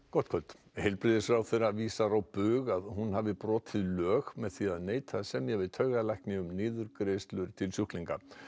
gott kvöld heilbrigðisráðherra vísar því á bug að hún hafi brotið lög með því að neita að semja við taugalækni um niðurgreiðslur til sjúklinga